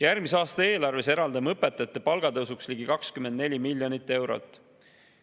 Järgmise aasta eelarves eraldame õpetajate palgatõusuks ligi 24 miljonit eurot.